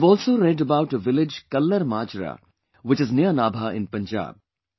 I have also read about a village KallarMajra which is near Nabha in Punjab